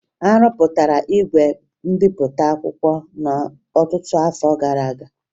A rụpụtara igwe mbipụta akwụkwọ n'ọtụtụ afọ gara aga